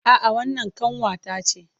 A'a wannan ƙanwa ta ce